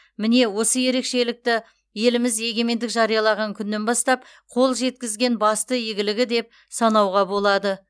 міне осы ерекшелікті еліміз егемендік жариялаған күннен бастап қол жеткізген басты игілігі деп санауға болады